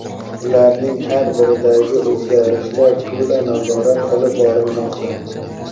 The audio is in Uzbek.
ularning har biridagi o‘zgarishlar to‘la nazorat qilib borilmoqda.